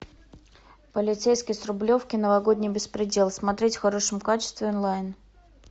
полицейский с рублевки новогодний беспредел смотреть в хорошем качестве онлайн